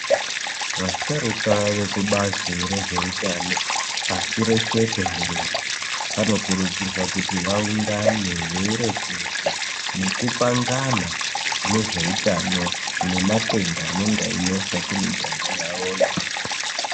Vasharuka vekubazi rezvehutano pashi reshe tenderere. Vanokurudzirwa kuti vaungane veireketa nekupangana kune zveutano nematenda anenge einesa kumiganga yavoyo.